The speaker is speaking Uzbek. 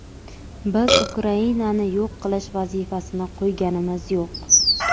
biz Ukrainani yo‘q qilish vazifasini qo‘yganimiz yo‘q.